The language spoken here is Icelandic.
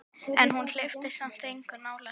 En hún hleypti samt engum nálægt sér.